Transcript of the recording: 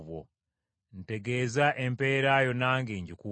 Ntegeeza empeera yo nange ngikuwe.”